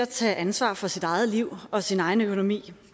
tage ansvar for sit eget liv og sin egen økonomi